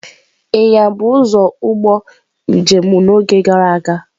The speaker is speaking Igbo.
Ịnyịnya bụ ụzọ ụgbọ njem n'oge gara aga.